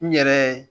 N yɛrɛ